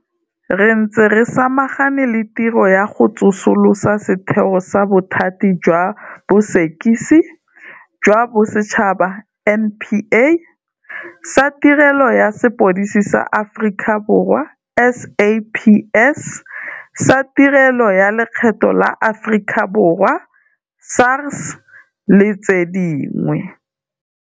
Re ntse re samagane le tiro ya go tsosolosa setheo sa Bothati jwa Bosekisi jwa Bosetšhaba, NPA. Sa Tirelo ya Sepodisi sa Aforika Borwa, SAPS, sa Tirelo ya Lekgetho la Aforika Borwa, SARS, le tse dingwe.